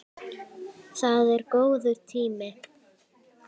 Það er góður tími.